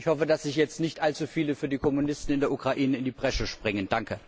Ich hoffe, dass jetzt nicht allzu viele für die Kommunisten in der Ukraine in die Bresche springen.